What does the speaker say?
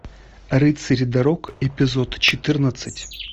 рыцари дорог эпизод четырнадцать